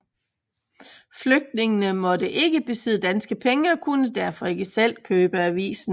Flygtningene måtte ikke besidde danske penge og kunne derfor ikke selv købe avisen